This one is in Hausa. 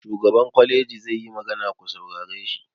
Shugaban kwaleji zai yi magana, ku saurare shi!